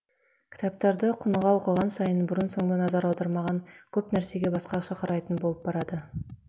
кітаптарды құныға оқыған сайын бұрын соңды назар аудармаған көп нәрсеге басқаша қарайтын болып барады